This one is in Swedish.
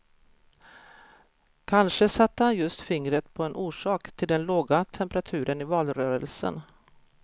Kanske satte han just fingret på en orsak till den låga temperaturen i valrörelsen.